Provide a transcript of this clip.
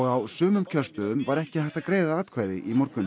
á sumum kjörstöðum var ekki hægt að greiða atkvæði í morgun